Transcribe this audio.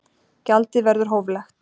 Gjaldið verður hóflegt